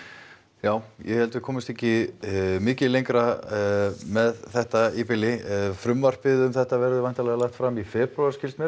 já ég held að við komumst ekki mikið lengra með þetta í bili frumvarpið um þetta verður væntanlega lagt fram í febrúar skilst mér